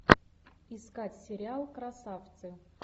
искать сериал красавцы